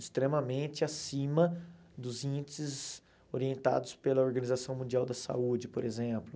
extremamente acima dos índices orientados pela Organização Mundial da Saúde, por exemplo.